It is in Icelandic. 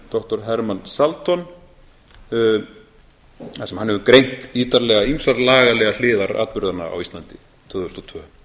doktor herman salton þar sem hann hefur greint ítarlega ýmsar lagalegar hliðar atburðanna á íslandi tvö þúsund